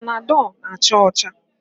Panadọl na-acha ọcha.